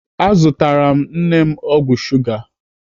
Azụtara m nne m ọgwụ shuga.